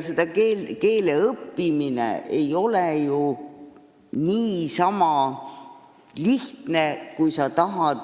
Keele õppimine ei ole ju niisama lihtne, kui sa tahad